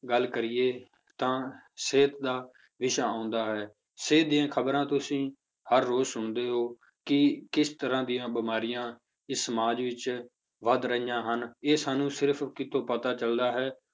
ਗੱਲ ਕਰੀਏ ਤਾਂ ਸਿਹਤ ਦਾ ਵਿਸ਼ਾ ਹੁੰਦਾ ਹੈ ਸਿਹਤ ਦੀਆਂ ਖ਼ਬਰਾਂ ਤੁਸੀਂ ਹਰ ਰੋਜ਼ ਸੁਣਦੇ ਹੋ ਕਿ ਕਿਸ ਤਰ੍ਹਾਂ ਦੀਆਂ ਬਿਮਾਰੀਆਂ ਇਸ ਸਮਾਜ ਵਿੱਚ ਵੱਧ ਰਹੀਆਂ ਹਨ, ਇਹ ਸਾਨੂੰ ਸਿਰਫ਼ ਕਿੱਥੋਂ ਪਤਾ ਚੱਲਦਾ ਹੈ